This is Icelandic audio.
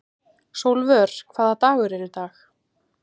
Sólvör, hvaða dagur er í dag?